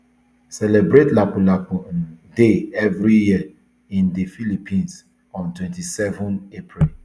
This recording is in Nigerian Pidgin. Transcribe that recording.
celebrate lapulapu um day every year in di philippines on twenty-seven april